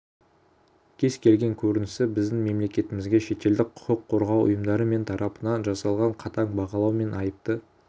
кез-келген көрінісі біздің мемлекетімізге шетелдік құқық қорғау ұйымдары мен тарапынан жасалған қатаң бағалау мен айыпты